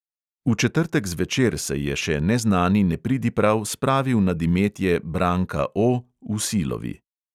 V četrtek zvečer se je še neznani nepridiprav spravil nad imetje branka O v silovi.